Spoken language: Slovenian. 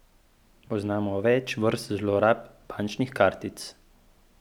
Poznamo več vrst zlorab bančnih kartic.